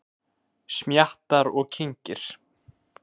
Smjattar og kyngir.